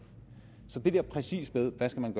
så det der præcis med hvad man